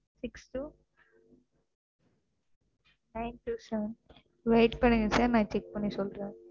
Six two Nine two seven கொஞ்சம் Wait பண்ணுங்க Sir நான் Check பண்ணி சொல்றேன்.